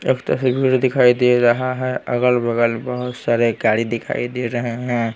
दिखाई दे रहा है अगल-बगल बहुत सारे बहुत सारे गाड़ी दिखाई दे रहे हैं।